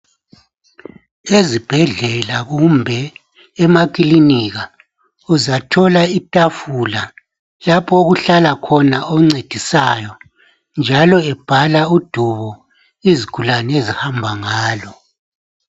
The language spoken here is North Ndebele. Ezibhedlela kumbe emakilinika uzathola ithafula lapho okuhlala khona oncedisayo, njalo ebhala udubo izigulane ezihamba ngalo.